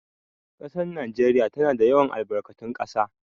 Ƙasar Najeriya tana da yawan albarkatun ƙasa